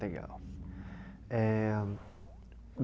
Legal. Eh